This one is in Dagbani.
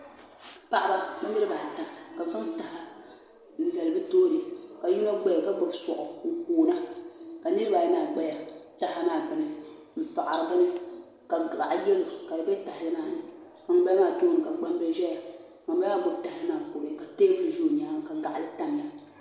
Paɣaba bɛ niriba ata ka bɛ zaŋ taha n zali bɛ tooni ka yino zaya ka gbibi soaɣu n koona ka niriba ayi maa gbaya taha maa gbini m paɣari bini ka gaɣa yelo ka di be tahali maani ŋun bala maa tooni ka gbambili zaya ŋun bala maa gbibi tahali maa n kuriya ka teebuli ʒɛ o nyaanga ka gaɣali tamya.